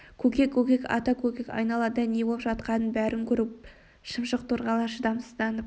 көкек көкек ата көкек айналада не болып жатқанының бәрін көріп отыр шымшық торғайлар шыдамсызданып